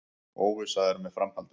Óvissa er með framhaldið